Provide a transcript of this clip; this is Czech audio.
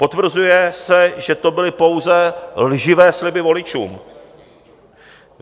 Potvrzuje se, že to byly pouze lživé sliby voličům.